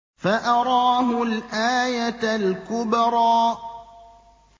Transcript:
فَأَرَاهُ الْآيَةَ الْكُبْرَىٰ